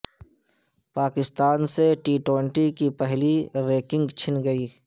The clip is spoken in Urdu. پاکستان سے ٹی ٹوئنٹی کی پہلی رینکنگ چھن گئی